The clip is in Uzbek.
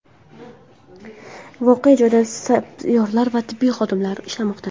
Voqea joyida sapyorlar va tibbiy xodimlar ishlamoqda.